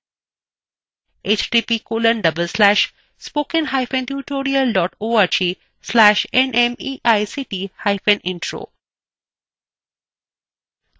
এই বিষয় বিস্তারিত তথ্য এই লিঙ্কএ পাওয়া যাবে